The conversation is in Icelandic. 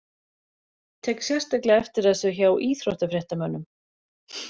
Tek sérstaklega eftir þessu hjá íþróttafréttamönnum.